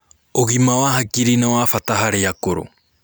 ũgima wa hakiri nĩwabata harĩ akũrũ